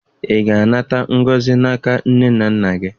Ị ga-anata ngọzi n'aka nne na nna gị?